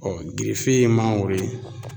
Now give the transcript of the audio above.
Bɔn gerefe ye mangoro ye